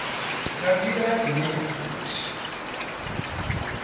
nga nḓila ine ya fusha